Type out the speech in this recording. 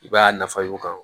I b'a nafa yir'u kan